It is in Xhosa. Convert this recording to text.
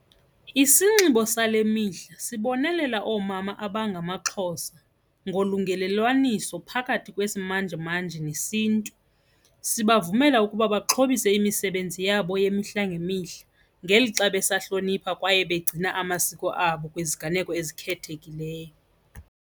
Isinxibo sale mihla sibonelela oomama abangamaXhosa ngolungelelwasiso phakathi kwesimanjemanje nesiNtu, sibavumela ukuba baxhobise imisebenzi yabo yemihla ngemihla ngelixa besahlonipha kwaye begcina amasiko abo kwiziganeko ezikhethekileyo.